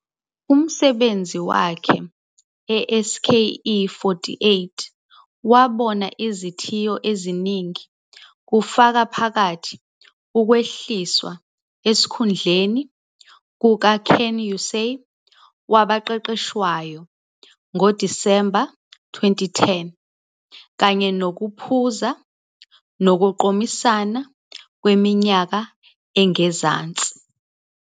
Umsebenzi wakhe e-SKE48 wabona izithiyo eziningi, kufaka phakathi ukwehliswa esikhundleni kukaKenkyuusei, wabaqeqeshwayo, ngoDisemba 2010, kanye nokuphuza, ukuqomisana ngeminyaka engezansi.